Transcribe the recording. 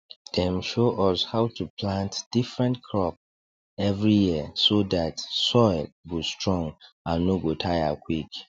dem show us how to plant different crop every year so that soil go strong and no go tire quick